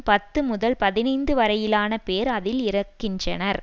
பத்து முதல் பதினைந்து வரையிலான பேர் அதில் இறக்கின்றனர்